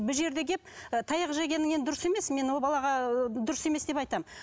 бұл жерге келіп таяқ жегенің енді дұрыс емес мен ол балаға дұрыс емес деп айтамын